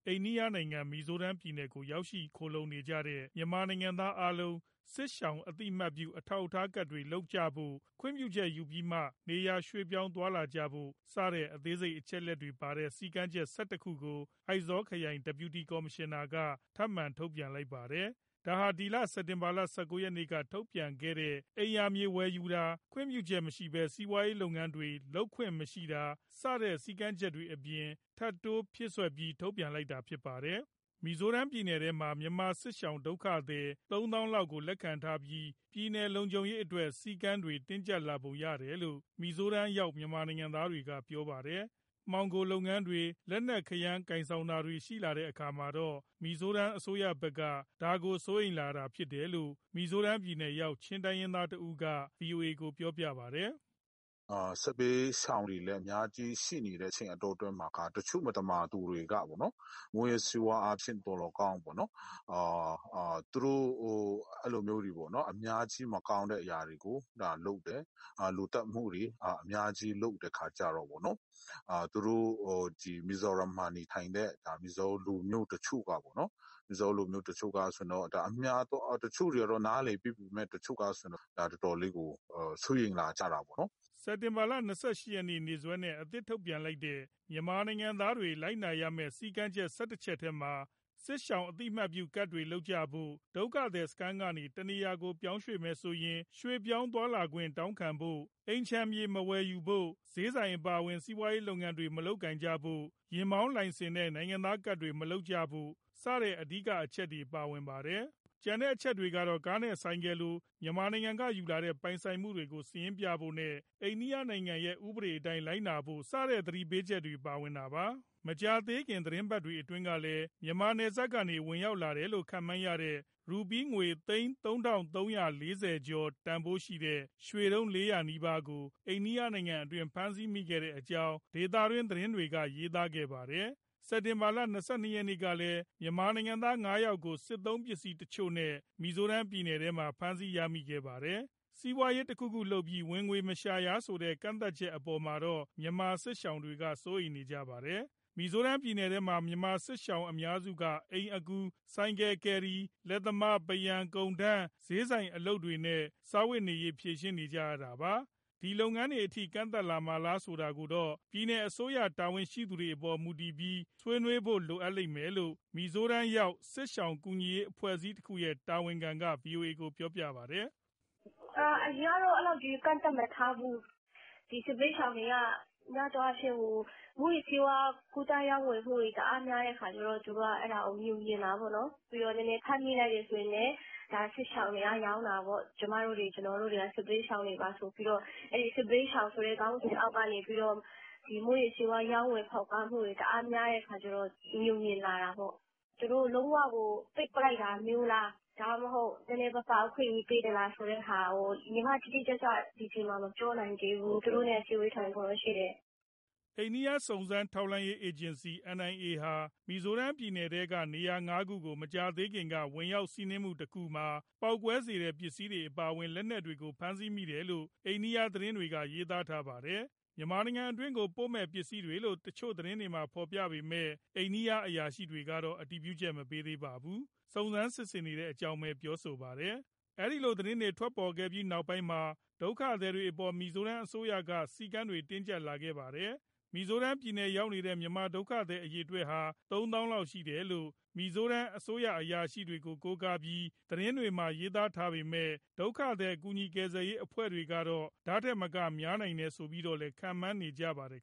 အိန္ဒိယနိုင်ငံ၊ မီဇိုရမ်ပြည်နယ်ကို ရောက်ရှိလာကြတဲ့ မြန်မာနိုင်ငံသားအားလုံး စစ်ရှောင် အသိအမှတ်ပြု အထောက်အထားကဒ်တွေ လုပ်ကြဖို့၊ ခွင့်ပြုချက်ယူပြီးမှ နေရာရွှေ့ပြောင်းသွားလာကြဖို့ စတဲ့အသေးစိတ် အချက်အလက်တွေပါတဲ့ စည်းကမ်းချက် ၁၁ခုကို အိုက်ဇောခရိုင် Deputy Commissioner က ထပ်မံ ထုတ်ပြန်လိုက်ပါတယ်။ ဒါဟာ ဒီလ စက်တင်ဘာလ ၁၉ရက်နေ့က ထုတ်ပြန်ခဲ့တဲ့ အိမ်ယာမြေဝယ်ယူတာ၊ ခွင့်ပြုချက်မရှိပဲ စီးပွားရေးလုပ်ငန်းတွေ လုပ်ခွင့်မရှိတာ စတဲ့ စည်းကမ်းချက်တွေအပြင် ထပ်တိုးဖြည့်စွက်ပြီး ထုတ်ပြန်လိုက်တာဖြစ်ပါတယ်။ မီဇိုရမ်ပြည်နယ်ထဲမှာ မြန်မာစစ်ရှောင် ဒုက္ခသည် ၃၀,၀၀၀ ကျော်လောက်ကို လက်ခံထားပြီး ပြည်နယ်လုံခြုံရေးအတွက် စည်းကမ်းတွေ တင်းကျပ်လာပုံရတယ်လို့ မီဇိုရမ်ရောက် မြန်မာနိုင်ငံသားတွေက ပြောပါတယ်။ မှောင်ခိုလုပ်ငန်းတွေ၊ လက်နက်ခဲယမ်း ကိုင်ဆောင်ထားတာတွေ ရှိလာတဲ့အခါမှာတော့ မီဇိုရမ်အစိုးရဘက်က ဒါကို စိုးရိမ်လာတာ ဖြစ်နိုင်တယ်လို့ မီဇိုရမ် ပြည်နယ်ရောက် ချင်းတိုင်းရင်းသားတဦးက ဗွီအိုအေကို ပြောပါတယ်။ " စစ်ဘေးရှောင်တွေလည်း အများကြီးရှိနေတဲ့အတောအတွင်းမှာ တချို့မသမာသူတွေက မူးယစ်ဆေးဝါးအားဖြင့် သော်လည်းကောင်း အဲလိုမျိုး အများကြီးမကောင်းတဲ့ အရာတွေကို လုပ်တယ်၊ လူသတ်မှုတွေ အများကြီးလုပ်တဲ့အခါကြတော့ သူတို့မီဇိုရမ်မှာနေထိုင်တဲ့ မီဇိုးလူမျိုး တချို့တွေက နားလည်ပေးပေမဲ့ တချို့ကဆိုရင် တော်တော်လေးကို စိုးရိမ်လာကြတာပေါ့နော်။" စက်တင်ဘာလ ၂၈ ရက်နေ့စွဲနဲ့ အသစ်ထုတ်ပြန်လိုက်တဲ့ မြန်မာနိုင်ငံသားတွေ လိုက်နာရမယ့် စည်းကမ်းချက် ၁၁ချက်ထဲမှာ စစ်ရှောင် အသိအမှတ်ပြုကဒ်တွေ လုပ်ကြဖို့၊ ဒုက္ခသည်စခန်းကနေ တခြားနေရာကို ပြောင်းမယ်ဆိုရင် ရွှေ့ပြောင်းသွားလာခွင့် တောင်းခံဖို့၊ အိမ်ခြံမြေ မဝယ်ယူဖို့၊ ဈေးဆိုင် အပါအဝင် စီးပွားရေးလုပ်ငန်းတွေ မလုပ်ကိုင်ဖို့၊ ယာဉ်မောင်းလိုင်စင်နဲ့ နိုင်ငံသားကဒ်တွေ မလုပ်ကြဖို့ စတဲ့အဓိကအချက် ပါဝင်ပါတယ်။ ကျန်တဲ့အချက်တွေမှာတော့ ကားနဲ့ဆိုင်ကယ်လို မြန်မာနိုင်ငံကယူလာတဲ့ ပိုင်ဆိုင်မှုတွေကို စာရင်းပြဖို့နဲ့ အိန္ဒိယနိုင်ငံရဲ့ ဥပဒေအတိုင်း လိုက်နာဖို့ စတဲ့သတိပေးချက်တွေ ပါဝင်တာပါ။ မကြာသေးခင် သီတင်းပတ်တွေအတွင်းကလည်း မြန်မာနယ်စပ်ကနေ ဝင်ရောက်လာတယ်လို့ ခန့်မှန်းရတဲ့ ရူးပီးငွေသိန်း ၃၃၄၀ ကျော် တန်ဖိုးရှိတဲ့ ရွှေတုံး ၄၀၀ နီးပါးကို အိန္ဒိယနိုင်ငံအတွင်း ဖမ်းဆီးမိခဲ့တဲ့အကြောင်း ဒေသတွင်း သတင်းတွေက ရေးသားခဲ့ပါတယ်။ စက်တင်ဘာလ ၂၂ရက် ကလည်း မြန်မာနိုင်ငံသား ၅ယောက်ကို စစ်သုံးပစ္စည်းတချို့နဲ့ မီဇိုရမ်ပြည်နယ်ထဲမှာ ဖမ်းဆီးရမိခဲ့ပါတယ်။ စီးပွားရေး တခုခုလုပ်ပြီး ဝင်ငွေမရှာရဆိုတဲ့ ကန့်သတ်ချက်အပေါ်မှာတော့ မြန်မာစစ်ရှောင်တွေက စိုးရိမ်ကြပါတယ်။ မီဇိုရမ်ပြည်နယ်ထဲမှာ မြန်မာစစ်ရှောင် အများစုက အိမ်အကူ၊ ဆိုင်ကယ် ကယ်ရီ၊ လက်သမား၊ ပန်းရံ၊ ကုန်ထမ်း၊ ဈေးဆိုင်အလုပ်တွေနဲ့ စားဝတ်နေရေး ဖြေရှင်းနေရတာပါ။ ဒီလုပ်ငန်းတွေအထိ ကန့်သတ်မှာလားဆိုတာကိုတော့ ပြည်နယ်အစိုးရ တာဝန်ရှိသူတွေအပေါ် မူတည်ပြီး၊ ဆွေးနွေးဖို့လိုမယ်လို့ မီဇိုရမ်ရောက် စစ်ရှောင်ကူညီရေးအဖွဲ့အစည်းတခုရဲ့ တာဝန်ခံက ဗွီအိုအေကို ပြောပါတယ်။ " အရင်ကတော့ အဲလောက်ကြီး ကန့်သတ်မထားဘူး၊ စစ်ဘေးရှောင်တွေက များသောအားဖြင့် မူးယစ်ဆေးဝါး ကူးသန်းရောင်းဝယ်မှုတွေ တအားများတဲ့အခါကြတော့ သူတို့ကအဲဒါကို ငြိုငြင်တာပေါ့နော်။ ပြီးတော့ ဖမ်းမိလိုက်တယ်ဆိုရင်လည်း ဒါစစ်ရှောင်တွေက ရောင်းတာပေါ့၊ ကျမတို့တွေ ကျနော်တို့တွေက စစ်ဘေးရှောင်တွေပါ ဆိုပြီးတော့ အဲဒီစစ်ဘေးရှောင်ဆိုတဲ့ ခေါင်းစဉ်အောက်ကနေ ဒီမူးယစ်ဆေးဝါး ရောင်းဝယ်ဖောက်ကားမှုတွေ တအားများတဲ့အခါကြတော့ ငြိုငြင်လာတာပေါ့။ သူတို့လုံးဝကို ပိတ်ပစ်လိုက်တာမျိုးလား ဒါမှမဟုတ် နည်းနည်းပါးပါး အခွင့်အရေးပေးသလား ဆိုတဲ့ဟာကို ညီမတိတိကျကျ ဒီအချိန်မှာ မပြောနိုင်သေးဘူး သူတို့နဲ့ အစည်းအဝေး ထိုင်ဖို့တော့ရှိတယ်။" အိန္ဒိယစုံစမ်းထောက်လှမ်းရေး အေဂျင်စီ NIA ဟာ မီဇိုရမ်ပြည်နယ်က နေရာငါးခုကို မကြာသေးခင်က ဝင်ရောက်စီးနင်းမှုတခုမှာ ပေါက်ကွဲစေတဲ့ပစ္စည်းတွေ အပါအဝင် လက်နက်တွေကို ဖမ်းဆီးမိတယ်လို့ အိန္ဒိယသတင်းတွေက ရေးသားပါတယ်။ မြန်မာနိုင်ငံအတွင်းကို ပို့မယ့် ပစ္စည်းတွေလို့ သတင်းတချို့မှာ ဖေါ်ပြပေမဲ့ အိန္ဒိယ အရာရှိတွေကတော့ အတည်ပြုချက်မပေးပါဘူး။ စုံစမ်းစစ်ဆေးနေတဲ့အကြောင်း ပြောဆိုပါတယ်။ ဒီလို သတင်းတွေ ထွက်လာပြီးနောက်ပိုင်းမှာ ဒုက္ခသည်တွေအပေါ် မီဇိုရမ်အစိုးရက စည်းကမ်းတွေ တင်းကြပ်လာခဲ့တာပါ။ မီဇိုရမ်ရောက်နေတဲ့ မြန်မာဒုက္ခသည်အရေအတွက်ဟာ ၃ သောင်းလောက်ရှိတယ်လို့ မီဇိုရမ်အစိုးရအရာရှိတွေကို ကိုးကားပြီး သတင်းတွေမှာ ရေးပေမဲ့ ဒုက္ခသည်ကူညီကယ်ဆယ်ရေး အဖွဲ့တွေကတော့ ဒီထက်မက များနိုင်တယ်ဆိုပြီးတော့လည်း ခန့်မှန်းနေကြပါတယ်